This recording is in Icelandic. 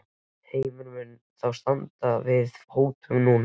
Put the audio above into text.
Heimir, mun hún þá standa við þá hótun núna?